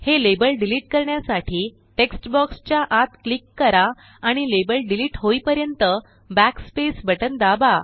हे label delete करण्यासाठी text बॉक्सच्या आत क्लिक करा आणि लेबल डीलीटहोईपर्यंत backspace बटन दाबा